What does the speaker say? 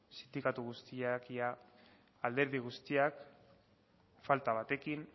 sindikatu guztiak ia alderdi guztiak falta batekin